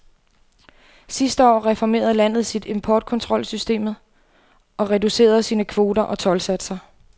Sidste år reformerede landet sit importkontrolsystemet og reducerede sine kvoter og toldsatser.